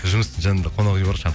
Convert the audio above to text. жұмыстың жанында қонақ үй бар